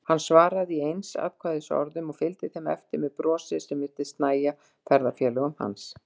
Hann svaraði í einsatkvæðisorðum og fylgdi þeim eftir með brosi sem virtist nægja ferðafélögum hans.